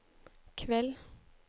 kveld